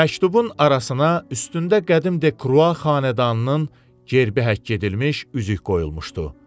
Məktubun arasına üstündə qədim Dekrua xanədanının gerbi həkk edilmiş üzük qoyulmuşdu.